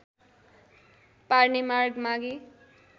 पार्ने माग मागे